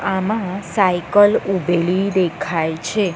આમાં સાયકલ ઉભેલી દેખાય છે.